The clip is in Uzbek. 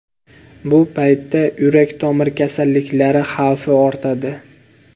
Bu paytda yurak-tomir kasalliklari xavfi ortadi.